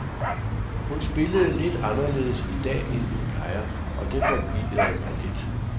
Hun spillede lidt anderledes i dag end hun plejer, og det forvirrede mig lidt.